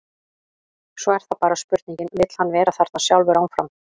Svo er það bara spurningin, vill hann vera þarna sjálfur áfram?